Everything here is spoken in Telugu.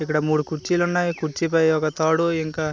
ఇక్కడ మూడు కుర్చీలున్నాయి కుర్చీ పై ఒక తాడు ఇంక.